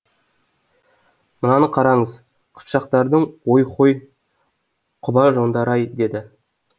мынаны қараңыз қыпшақтардың ой хой құба жондары ай дейді